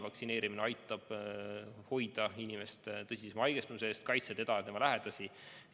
Vaktsineerimine aitab hoida inimest tõsisema haigestumise eest, kaitsta teda ja tema lähedasi.